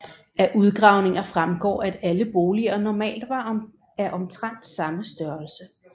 Af udgravninger fremgår at alle boliger normalt var af omtrent samme størrelse